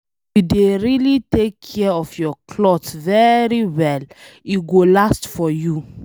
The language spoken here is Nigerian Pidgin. If you dey really take care of your clothes very well, e go last for you